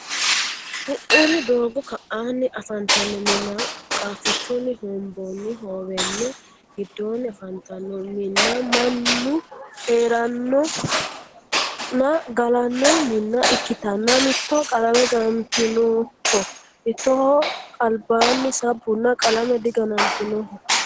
Ku"uri doogo ka'anni afantanno minna qaafichunni hombonni howame giddonni afantanno minna mannu heeranno nna galanno minna ikkitanna mitoho qalame ganantinnoho mittoho albanni sabbunna qalame diganantinnoho.